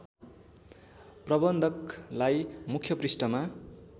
प्रबन्धकलाई मुख्य पृष्ठमा